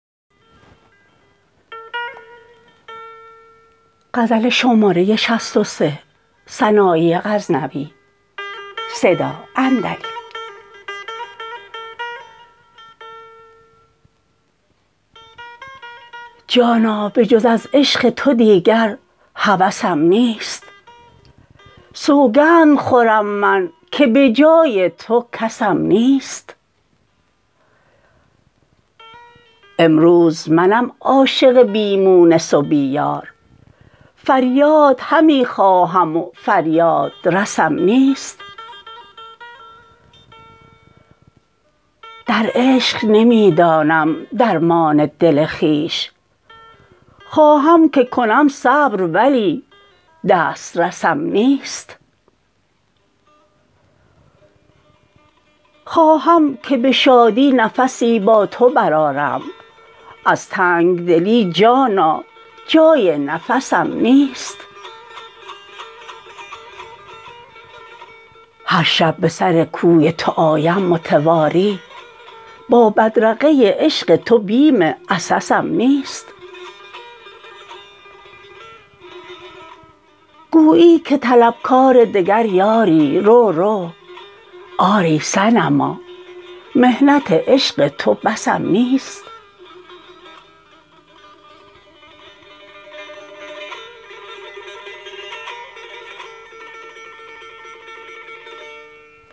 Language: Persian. جانا به جز از عشق تو دیگر هوسم نیست سوگند خورم من که بجای تو کسم نیست امروز منم عاشق بی مونس و بی یار فریاد همی خواهم و فریادرسم نیست در عشق نمی دانم درمان دل خویش خواهم که کنم صبر ولی دست رسم نیست خواهم که به بازی نفسی با تو برآرم از تنگ دلی جانا جای نفسم نیست هر شب به سر کوی تو آیم متواتر با بدرقه عشق تو بیم عسسم نیست گویی که طلبکار دگر یاری رو رو آری صنما محنت عشق تو بسم نیست